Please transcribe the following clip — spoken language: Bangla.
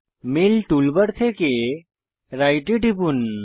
মেল টুল বার থেকে রাইট এ টিপুন